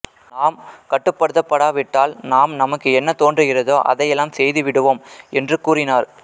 நாம் கட்டுப்படுத்தப்படாவிட்டால் நாம் நமக்கு என்ன தோன்றுகிறதோ அதையெல்லாம் செய்துவிடுவோம் என்றும் கூறினார்